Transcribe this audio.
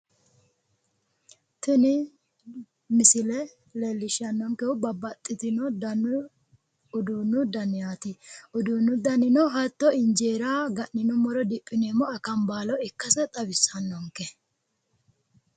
Tini misile leellishshannonkehu babbaxxitino danu uduunnu danaati. Uduunnu danino hatto injeera ga'ninummoro diphineemmo akambaalo ikkase xawissannonke.